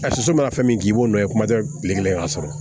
A soso mana fɛn min k'i b'o nɔ ye kuma tɛ bilen k'a sɔrɔ